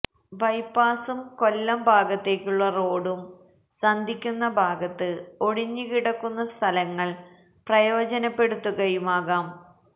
ബൈപ്പാസും കൊല്ലം ഭാഗത്തേക്കുള്ള റോഡും സന്ധിക്കുന്ന ഭാഗത്ത് ഒഴിഞ്ഞുകിടക്കുന്ന സ്ഥലങ്ങൾ പ്രയോജനപ്പെടുത്തുകയുമാകാം